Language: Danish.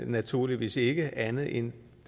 naturligvis ikke andet i end